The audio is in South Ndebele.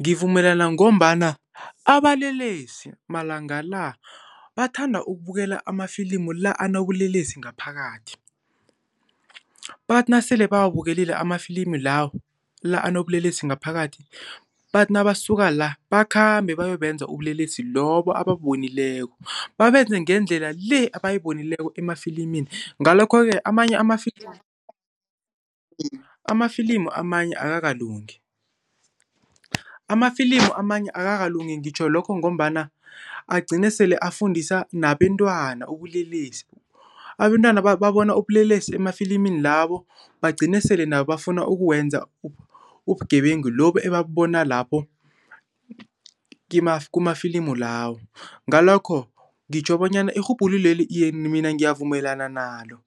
Ngivumelana ngombana abalelesi malangala bathanda ukubukela amafilimu la anobulelesi ngaphakathi. Bathi nasele bawabukele amafilimi lawo, la anobulelesi ngaphakathi bathi nabasuka la bakhambe bayobenza ubulelesi lobo ebabubonileko, babenze ngendlela le abayibonileko emafilimini. Ngalokho-ke amanye amafilimi Amafilimu amanye akakalungi. Amafilimu amanye akakalungi ngitjho lokho ngombana agcine sele afundisa nabentwana ubulelesi. Abentwana babona ubulelesi emafilimini lawo bagcine sele nabo bafuna ukuwenza ubugebengu lobo ebabubona lapho kumafilimu lawo. Ngalokho ngitjho bonyana irhubhululo leli, iye mina ngiyavumelana nalo.